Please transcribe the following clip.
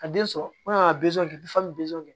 Ka den sɔrɔ ka